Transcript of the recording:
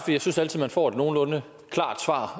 jeg synes altid man får et nogenlunde klart svar